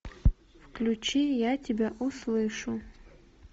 включи я тебя услышу